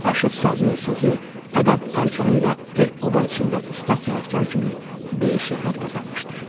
Aşıq sazı, sözü, ədəb-ərkanı ilə el-oba içində ustad sənətkar kimi böyük şöhrət qazanmışdır.